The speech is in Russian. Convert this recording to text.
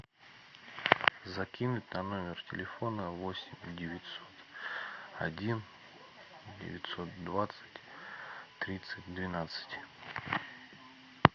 закинуть на номер телефона восемь девятьсот один девятьсот двадцать тридцать двенадцать